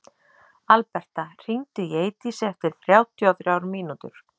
Alberta, hringdu í Eidísi eftir sextíu og þrjár mínútur.